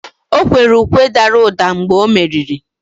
o kwere ukwe dara ụda mgbe o meriri